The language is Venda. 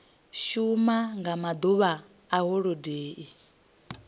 shuma nga maḓuvha a holodeni